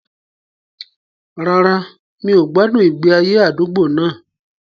Rárá, mi ò gbádùn ìgbé ayé àdúgbò náà